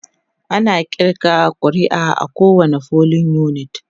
ana ƙirga ƙuri'a a kowani polling unit